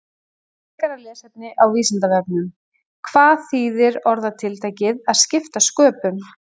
Frekara lesefni á Vísindavefnum: Hvað þýðir orðatiltækið að skipta sköpum?